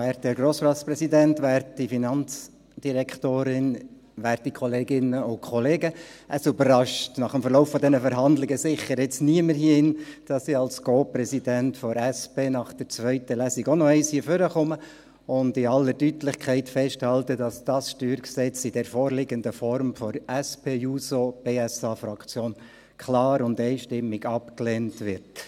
Es überrascht nach dem Verlauf dieser Verhandlungen sicher niemanden hier, dass ich als Co-Präsident der SP nach der zweiten Lesung auch noch einmal nach vorne komme und in aller Deutlichkeit festhalte, dass das StG in der vorliegenden Form von der SPJUSO-PSA-Fraktion klar und einstimmig abgelehnt wird.